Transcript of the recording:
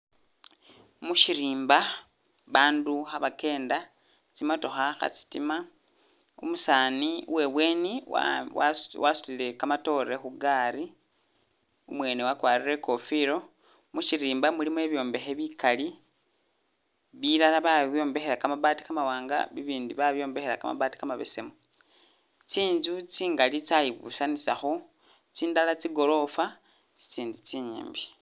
Mushirimba bandu kha'bakenda, tsimatookha kha'tsitima, umusaani uwebweni wa'a wasu wasutile kamatoore khugari umwene wakwarire ikofilo, mushirimba mulimo ibyombekhe bikali, bilala babyombekhela kamabaati kamawanga ibindi babyombekhela kamabaati kamabesemu, tsinzu tsingali tsayi'busanisakho, tsindala tsi'gorofa, tsitsindi tsinyimbi